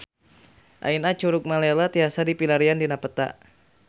Ayeuna Curug Malela tiasa dipilarian dina peta